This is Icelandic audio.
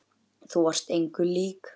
Þú varst engum lík.